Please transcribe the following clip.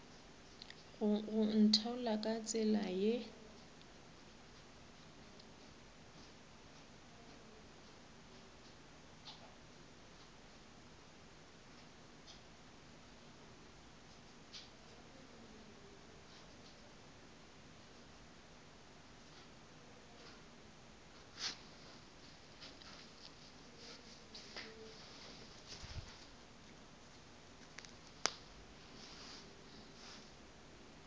go ntheola ka tsela ye